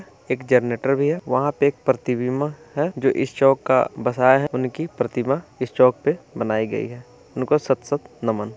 एक जनरेटर भी है वहाँ पे एक प्रतिबिंब भी है जो इस चौक का बसाया है उनकी प्रतिमा इस चौक पे बनाई गई है उनको शत-शत नमन ।